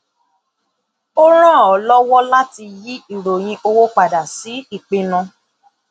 ó ràn ọ lọwọ láti yí ìròyìn owó padà sí ìpinnu